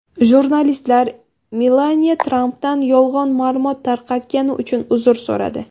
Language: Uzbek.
Jurnalistlar Melaniya Trampdan yolg‘on ma’lumot tarqatgani uchun uzr so‘radi.